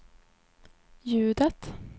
ljudet